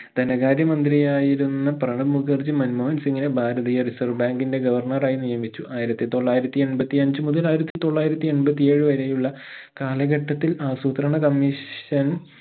ധനകാര്യ മന്ത്രിയായിരുന്ന പ്രണബ് മുഖർജി മൻമോഹൻ സിംഗിനെ ഭാരതീയ reserve bank ഇന്റെ governor റായി നിയമിച്ചു ആയിരത്തി തോലായിരത്തി എൺപത്തി അഞ്ച് മുതൽ ആയിരത്തി തൊള്ളായിരത്തി എൺപത്തേഴ് വരെയുള്ള കാലഘട്ടത്തിൽ ആസൂത്രണ comission